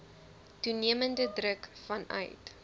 toenemende druk vanuit